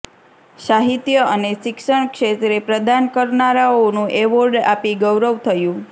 સાહિત્ય અને શિક્ષણ ક્ષેત્રે પ્રદાન કરનારાઓનું ઍવોર્ડ આપી ગૌરવ થયું